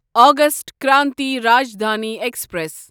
August Kranti Rajdhani express